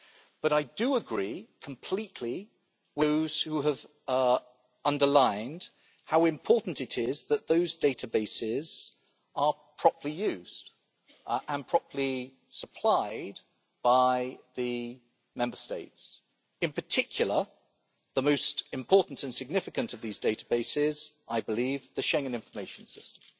But I do agree completely with those who have underlined how important it is that those databases are properly used and properly supplied by the Member States, in particular, the most important and significant of these databases, I believe, the Schengen Information System